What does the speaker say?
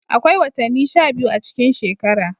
Akwai watanni sha biyu a cikin shekara.